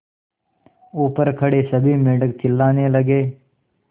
ऊपर खड़े सभी मेढक चिल्लाने लगे